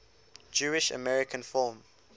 jewish american film